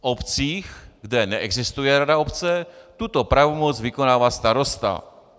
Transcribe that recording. V obcích, kde neexistuje rada obce, tuto pravomoc vykonává starosta.